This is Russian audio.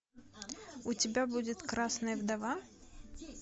у тебя будет красная вдова